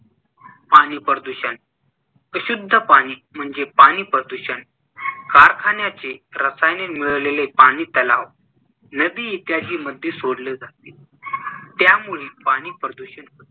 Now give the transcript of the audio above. पाणी प्रदूषण अशुद्ध पाणी म्हणजे पाणी प्रदूषण, कारखान्याचे रसायने मिळलेले पाणी तलाव, नदी इत्यादी मध्ये सोडले जाते. त्यामुळे पाणी प्रदूषण होते.